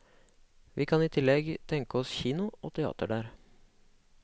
Vi kan i tillegg tenke oss kino og teater der.